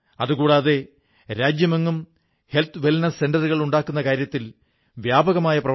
ത്രിപുരമുതൽ ഗുജറാത്ത് വരെ ജമ്മു കശ്മീർ മുതൽ തമിഴ്നാടുവരെ സ്ഥാപിക്കപ്പെട്ടിരിക്കുന്ന വിശ്വാസകേന്ദ്രങ്ങൾ നമ്മെ ഒന്നാക്കുന്നു